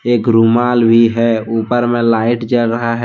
एक रूमाल भी है ऊपर में लाइट जल रहा है।